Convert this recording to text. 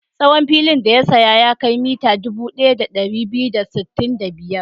Tsawon filin da ya saya ya kai mita dubu ɗaya da ɗari biyu da sittin da biyar.